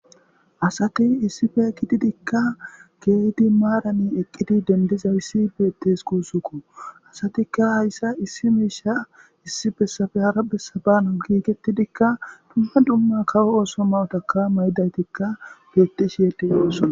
asati issife ekididikka geedi maarani eqqidi dendiza issi beittes kuusukko asatikka hayssa issi miisha issi bessafe hara bessabano giigettidikka dumma dumma kawo ooso mawotaka maydaytikka bettishiyede oosson